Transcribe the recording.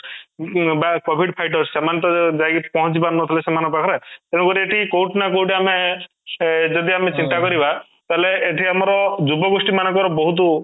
ଉମ ବା covid fighters ସେମାନେ ତ ଯାଇକି ପହଞ୍ଚିପାରୁନଥିଲେ ସେମାନଙ୍କ ପାଖ ରେ ତେଣୁ ଏଠି କୋଉଠି ନା କୋଉଠି ଆମେ ସେ ଯଦି ଆମେ ଚିନ୍ତା କରିବା ତାହେଲେ ଏଇଠି ଆମର ଯୁବ ଗୋଷ୍ଠୀ ମାନଙ୍କର ବହୁତ